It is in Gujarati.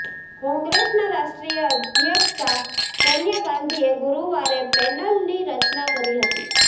કોંગ્રેસના રાષ્ટ્રીય અધ્યક્ષા સોનિયા ગાંધીએ ગુરુવારે પેનલની રચના કરી હતી